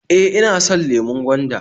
E, ina so .lemon gwanda